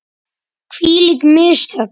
Hvílík mistök!